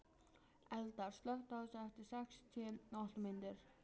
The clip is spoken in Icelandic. Eldar, slökktu á þessu eftir sextíu og átta mínútur.